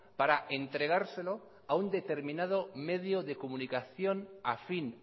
para entregárselo a un determinado medio de comunicación afín